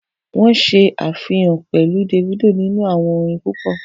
Wọ́n ṣe àfihàn pẹ̀lu Davido nínu àwọn orin púpọ̀